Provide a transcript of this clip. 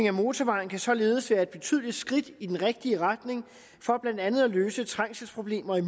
af motorvejen kan således være et betydeligt skridt i den rigtige retning for blandt andet at løse trængselsproblemerne